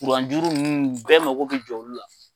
kuran juru ninnu bɛɛ mako bɛ jɔ olu la.